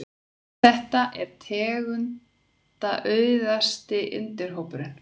Þetta er tegundaauðugasti undirhópurinn.